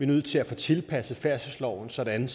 nødt til at få tilpasset færdselsloven sådan